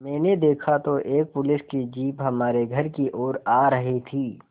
मैंने देखा तो एक पुलिस की जीप हमारे घर की ओर आ रही थी